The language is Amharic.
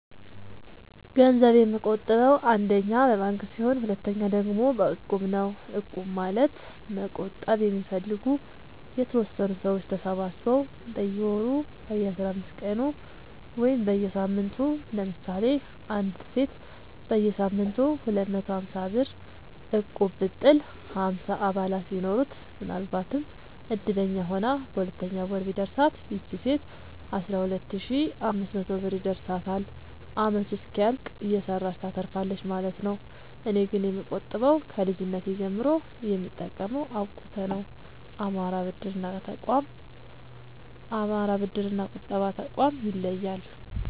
ገንዘብ የምቆ ጥበው አንደኛ በባንክ ሲሆን ሁለተኛ ደግሞ በእቁብ ነው እቁብ ማለት መቁጠብ የሚፈልጉ የተወሰኑ ሰዎች ተሰባስበው በየወሩ በየአስራአምስት ቀኑ ወይም በየሳምንቱ ለምሳሌ አንዲት ሴት በየሳምንቱ ሁለት መቶ ሀምሳብር እቁብጥል ሀምሳ አባላት ቢኖሩት ምናልባትም እድለኛ ሆና በሁለተኛው ወር ቢደርሳት ይቺ ሴት አስራሁለት ሺ አምስት መቶ ብር ይደርሳታል አመቱ እስኪያልቅ እየሰራች ታተርፋለች ማለት ነው። እኔ ግን የምቆጥበው ከልጅነቴ ጀምሮ የምጠቀመው አብቁተ ነው። አማራ ብድር እና ቁጠባ ጠቋም ይለያል።